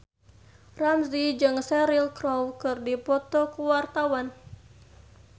Ramzy jeung Cheryl Crow keur dipoto ku wartawan